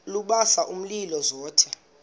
lubasa umlilo zothe